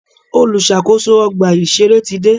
Olùṣàkóso ọgbà ìṣẹ̀rẹ́ ti dé.